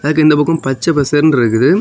அதுக்கு இந்த பக்கம் பச்ச பசேல்னு இருக்குது.